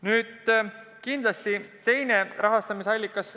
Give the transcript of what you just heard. Nüüd, kindlasti võiks olla ka teine rahastamise allikas.